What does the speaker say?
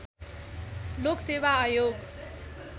लोक सेवा आयोग